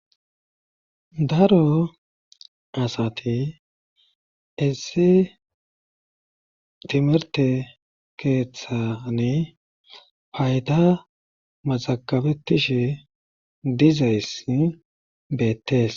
daro asati issi timirte keeththane payda mazagabetishe dizayssi beettees